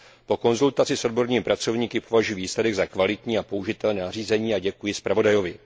Po konzultaci s odbornými pracovníky považuji výsledek za kvalitní a použitelné nařízení a děkuji zpravodajovi.